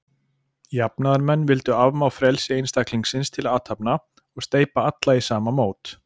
Jafnaðarmenn vildu afmá frelsi einstaklingsins til athafna, og steypa alla í sama mót.